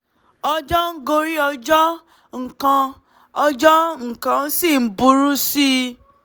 ọjọ́ ń gorí ọjọ́ nǹkan ọjọ́ nǹkan sì ń burú sí i